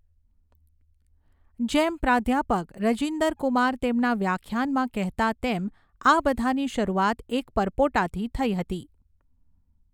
જેમ પ્રાધ્યાપક રજિન્દર કુમાર તેમના વ્યાખ્યાનમાં કહેતા તેમ, આ બધાની શરૂઆત એક પરપોટાથી થઈ હતી.